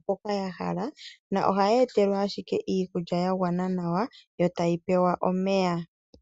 mpoka dha hala na ohadhi etelwa ashike iikulya ya gwana nawa nomeya.